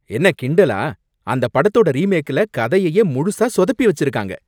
என்ன கிண்டலா? அந்தப் படத்தோட ரீமேக்ல கதையையே முழுசா சொதப்பி வச்சிருக்காங்க.